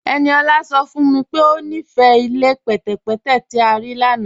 Ẹniọla sọ fún mí pé o nífé ilẹ̀ pẹtẹ̀pẹtẹ̀ tí a rí lána